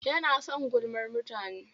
Yana son gulmar mutane.